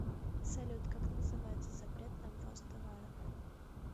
салют как называется запрет на ввоз товаров